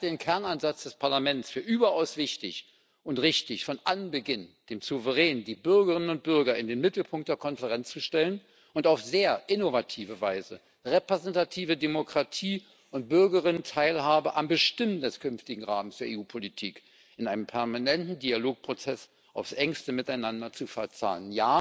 Ich halte den Kernansatz des Parlaments für überaus wichtig und richtig, von Anbeginn den Souverän, die Bürgerinnen und Bürger, in den Mittelpunkt der Konferenz zu stellen und auf sehr innovative Weise repräsentative Demokratie und die Teilhabe der Bürgerinnen und Bürger am Bestimmen des künftigen Rahmens für EU Politik in einem permanenten Dialogprozess aufs Engste miteinander zu verzahnen.